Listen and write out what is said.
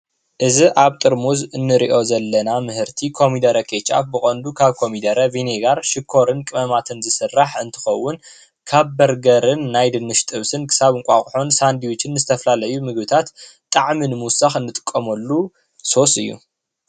እዚ ኣብ ጥርሙዝ እንሪኦ ዘለና ምህርቲ ኮሚደረ ኬችኣብ ብቐንዱ ካብ ኮሚደረ ቬኔማር ሽኮርን ቅመማትን ዝስራሕ እንትኸዉን ካብ በርገርን ናይ ድንች ጥብስን ክሳብ እንቋቑሖን ሳንድችን ዝተፈላለዩ ምግብታት ጣዕሚ ንምዉሳኽ ንጥቀመሉ ሶሲ እዩ፡፡